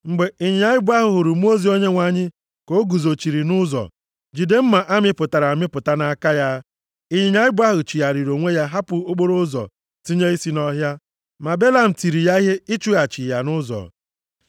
Mgbe ịnyịnya ibu ahụ hụrụ mmụọ ozi Onyenwe anyị ka o guzochiri nʼụzọ, jide mma a mịpụtara amịpụta nʼaka ya, ịnyịnya ibu ahụ chigharịrị onwe ya hapụ okporoụzọ, tinye isi nʼọhịa. Ma Belam tiri ya ihe ịchụghachi ya nʼụzọ.